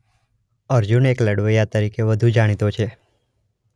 અર્જુન એક લડવૈયા તરીકે વધુ જાણીતો છે.